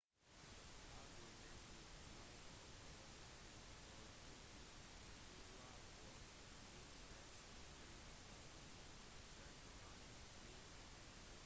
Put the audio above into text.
har du bestilt fly og overnatting for 2020 før utsettelsen ble annonsert kan du slite